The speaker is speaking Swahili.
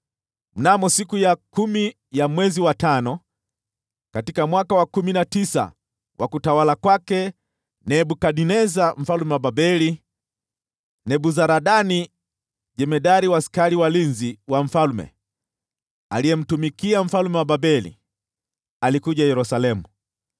Mnamo siku ya kumi ya mwezi wa tano, katika mwaka wa kumi na tisa wa utawala wa Nebukadneza mfalme wa Babeli, Nebuzaradani jemadari wa askari walinzi wa mfalme, aliyemtumikia mfalme wa Babeli, alikuja Yerusalemu.